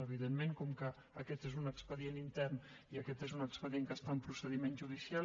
evidentment com que aquest és un expedient intern i aquest és un expedient que està en procediment judicial